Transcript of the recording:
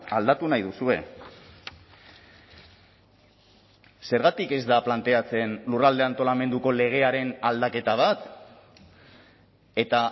aldatu nahi duzue zergatik ez da planteatzen lurralde antolamenduko legearen aldaketa bat eta